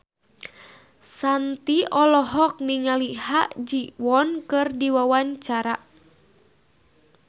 Shanti olohok ningali Ha Ji Won keur diwawancara